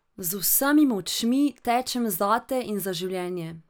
Z vsemi močmi tečem zate in za življenje.